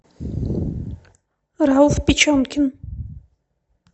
рауф печенкин